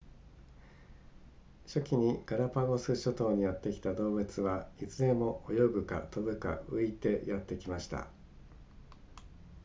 初期にガラパゴス諸島にやってきた動物はいずれも泳ぐか飛ぶか浮いてやってきました